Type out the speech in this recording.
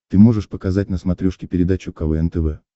ты можешь показать на смотрешке передачу квн тв